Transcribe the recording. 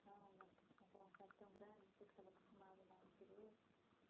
né São Paulo é uma cidade tão grande, você que estava acostumado lá no interior.